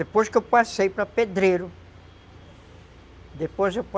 Depois que eu passei para pedreiro, depois